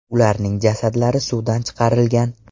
Ularning jasadlari suvdan chiqarilgan.